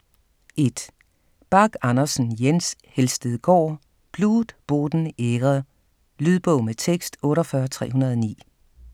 1. Bach Andersen, Jens: Helstedgaard: Blut, Boden, Ehre Lydbog med tekst 48309